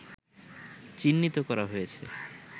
চিহ্নিত করা হয়েছে